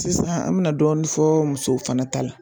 Sisan an bɛna dɔɔnin fɔ musow fana ta la